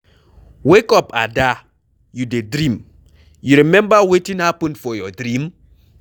Wake up Ada, you dey dream. You remember wetin happen for your dream?